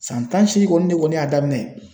San tan ni seegin kɔni ne kɔni y'a daminɛ.